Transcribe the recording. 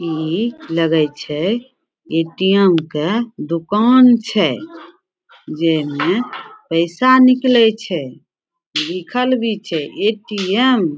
इ लगए छै ए.टी.एम. के दुकान छै जेमे में पैसा निकले छै लिखल भी छै ए.टी.एम.